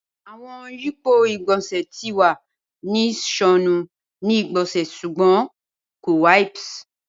Awọn yipo igbonse ti wa ni sọnu ni igbonse sugbon ko wipes.